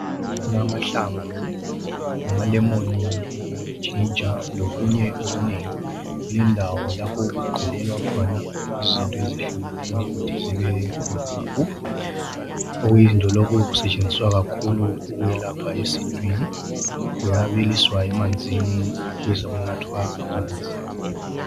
Kulamahlamvu amalemoni, iginger lokunye okunengi. Kulendawo lapho okugqulelwa khona izinto ezehlukeneyo ukuthi zibe yimpuphu. Okuyizinto lokhu kuyasetshenziswa kakhulu ukwelapha esintwini. Kuyabiliswa emanzini besokunathwa amanzi.